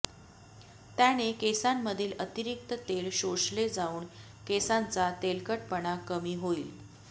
त्याने केसांमधील अतिरिक्त तेल शोषले जाऊन केसांचा तेलकटपणा कमी होईल